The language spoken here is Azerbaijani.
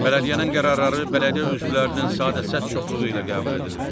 Bələdiyyənin qərarları bələdiyyə üzvlərinin sadə səs çoxluğu ilə qəbul edilir.